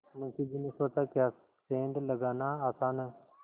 मुंशी जी ने सोचाक्या सेंध लगाना आसान है